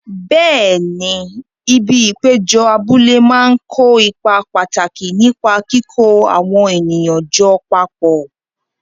Bẹẹ̀ni, ibi ìpéjọ abúlé máa ń kó ipa pàtàkì nípa kíkó àwọn ènìyàn jọ papọ̀.